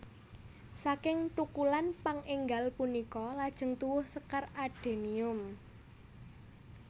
Saking thukulan pang énggal punika lajeng tuwuh sekar adenium